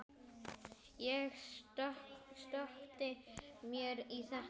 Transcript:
Ég sökkti mér í þetta.